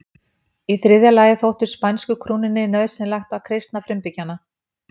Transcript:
Í þriðja lagi þótti spænsku krúnunni nauðsynlegt að kristna frumbyggjana.